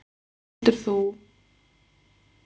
Heldurðu að þú kallir hann aftur til baka á miðju sumri?